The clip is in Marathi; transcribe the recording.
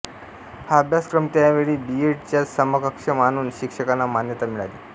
हा अभ्यासक्रम त्या वेळी बी एड च्या समकक्ष मानून शिक्षकांना मान्यता मिळाली